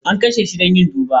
An kashe shi don yin duba.